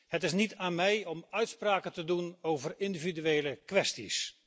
Het is dus niet aan mij om uitspraken te doen over individuele kwesties.